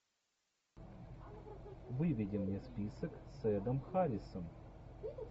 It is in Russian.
выведи мне список с эдом харрисом